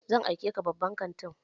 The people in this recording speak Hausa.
Zan aike ka babban kantin!